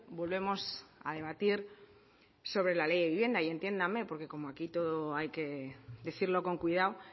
volvemos a debatir sobre la ley de vivienda y entiéndanme porque como aquí todo hay que decirlo con cuidado